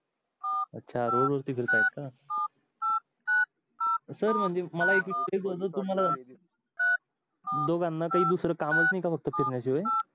अच्छा रोड वरती फिरत आहे का सर म्हणजे दोघांना काही दुसरा कामच नाही का फक्त फिरण्या शिवाय